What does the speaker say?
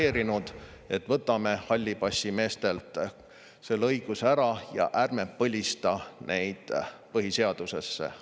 … deklareerinud, et võtame hallipassimeestelt selle õiguse ära, ja ärme põlistame neid põhiseaduses.